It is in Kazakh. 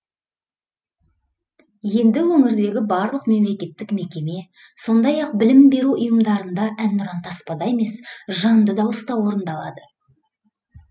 енді өңірдегі барлық мемлекеттік мекеме сондай ақ білім беру ұйымдарында әнұран таспада емес жанды дауыста орындалады